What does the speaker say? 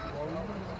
Sağ ol, görüşürük.